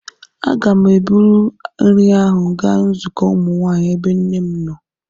Aga m eburu nri ahụ gaa nzukọ ụmụ nwanyị, ebe nne m nọ.